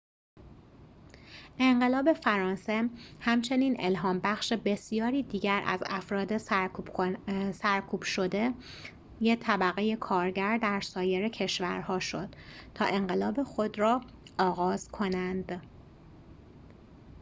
انقلاب فرانسه همچنین الهام‌بخش بسیاری دیگر از افراد سرکوب‌شده طبقه کارگر در سایر کشورها شد تا انقلاب خود را آغاز کنند